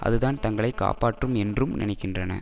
அதுதான் தங்களை காப்பாற்றும் என்றும் நினைக்கின்றன